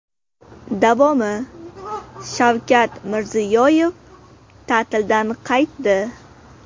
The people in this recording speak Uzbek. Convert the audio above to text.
Davomi: Shavkat Mirziyoyev ta’tildan qaytdi.